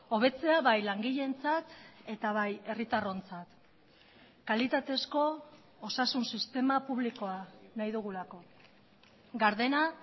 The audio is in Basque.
hobetzea bai langileentzat eta bai herritarrontzat kalitatezko osasun sistema publikoa nahi dugulako gardena